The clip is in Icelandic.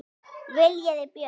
Viljiði Björk?